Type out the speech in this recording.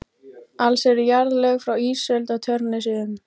Alls eru jarðlög frá ísöld á Tjörnesi um